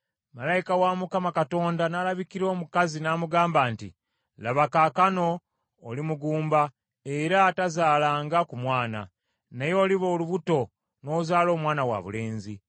Malayika wa Mukama Katonda n’alabikira omukazi n’amugamba nti, “Laba, kaakano, oli mugumba era atazaalanga ku mwana, naye oliba olubuto n’ozaala omwana wabulenzi.